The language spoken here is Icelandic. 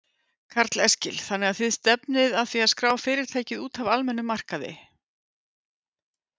Karl Eskil: Þannig að þið stefnir að því að skrá fyrirtækið út af almennum markaði?